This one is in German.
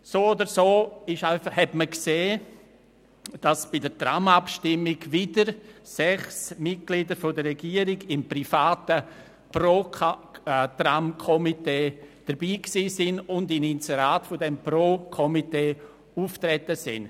So oder so hat man gesehen, dass bei der Tram-Abstimmung wieder sechs Mitglieder der Regierung im privaten Pro-Tram-Komitee mitmachten und in Inseraten dieses Pro-Tram-Komitees auftraten.